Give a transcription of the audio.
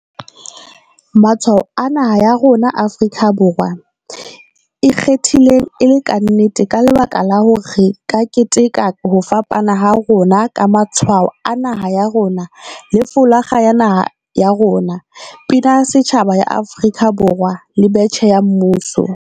Matshwao a naha ya rona Afrika Borwa e kgethile e le kannete ka lebaka la hore, ka keteka ho fapana ha rona ka Matshwao a Naha ya rona le folakga ya Naha ya rona. Pina ya Setjhaba ya Afrika Borwa le Betjhe ya Mmuso.